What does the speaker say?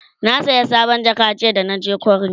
na saya sabon jaka jiya da naje kwari